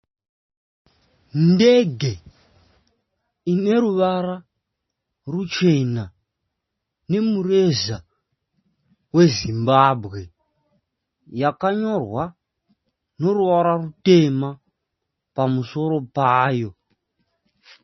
Ndege ineruvara ruchena, nemureza we Zimbabwe, yakanyorwa neruvara rutema pamusoro payo .